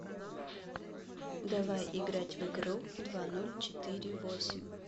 давай играть в игру два ноль четыре восемь